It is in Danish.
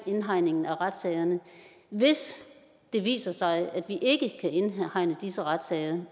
indhegningen af retssagerne hvis det viser sig at vi ikke kan indhegne disse retssager